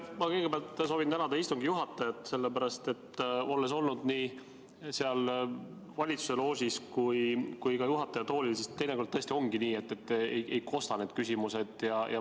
Ma kõigepealt soovin tänada istungi juhatajat, sest olles olnud nii valitsuse loožis kui ka juhataja toolil, tean, et teinekord tõesti ongi nii, et sinna looži küsimused ei kosta.